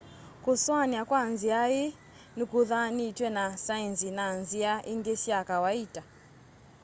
kusoania kwa nzia iĩ nikuthanĩtwe na saenzi na nzĩa ingĩ sya kawaita